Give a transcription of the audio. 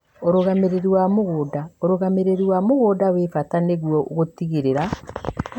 ũrũgamĩrĩri wa mĩgũnda: ũrũgamĩrĩri wa mĩgũnda nĩ wa bata nĩguo gũtigĩrĩra